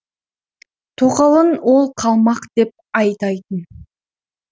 тоқалын ол қалмақ деп айтайтын